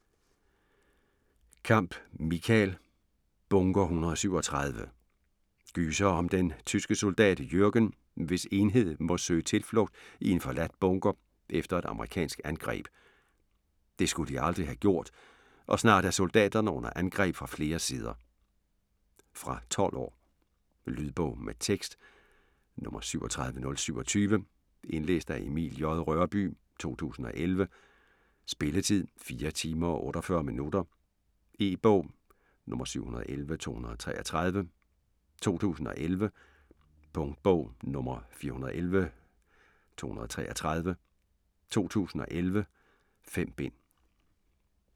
Kamp, Michael: Bunker 137 Gyser om den tyske soldat Jürgen, hvis enhed må søge tilflugt i en forladt bunker, efter et amerikansk angreb. Det skulle de aldrig have gjort, og snart er soldaterne under angreb fra flere sider. Fra 12 år. Lydbog med tekst 37027 Indlæst af Emil J. Rørbye, 2011. Spilletid: 4 timer, 48 minutter. E-bog 711233 2011. Punktbog 411233 2011. 5 bind.